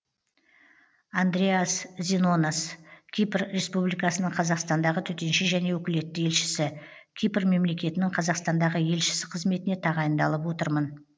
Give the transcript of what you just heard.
андреас зинонос кипр республикасының қазақстандағы төтенше және өкілетті елшісі кипр мемлекетінің қазақстандағы елшісі қызметіне тағайындалып отырмын